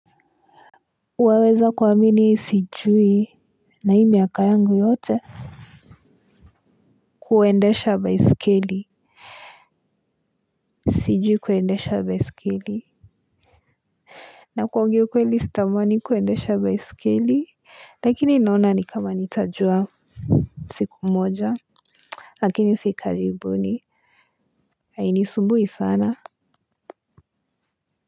Waweza kuamini sijui na hii miaka yangu yote kuendesha baisikeli, sijui kuendesha baisikeli. Na kuongea ukweli sitamani kuendesha baisikeli lakini naona nikama nitajua siku moja lakini si karibuni, hainisumbui sana.